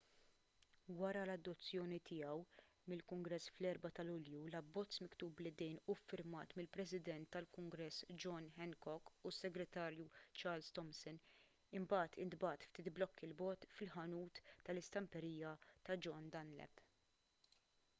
wara l-adozzjoni tiegħu mill-kungress fl-4 ta' lulju l-abbozz miktub bl-idejn u ffirmat mill-president tal-kungress john hancock u s-segretarju charles thomson imbagħad intbagħat ftit blokki l bogħod fil-ħanut tal-istamperija ta' john dunlap